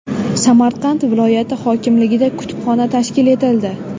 Samarqand viloyati hokimligida kutubxona tashkil etildi.